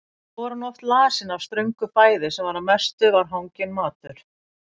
Og þó var hún oft lasin af ströngu fæði sem að mestu var hanginn matur.